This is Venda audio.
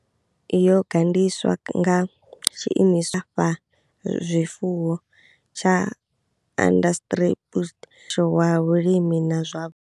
Yo gandiswa nga tshiimiswa vhulafhazwifuwo tsha Onderstepoort na sho wa Vhulimi na zwa.